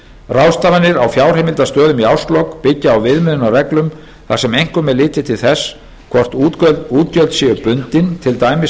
ráðstafanir á fjárheimildastöðum í árslok byggja á viðmiðunarreglum þar sem einkum er litið til þess hvort útgjöld séu bundin til dæmis